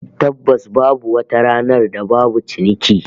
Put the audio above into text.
Tabbas babu wata ranar da babu ciniki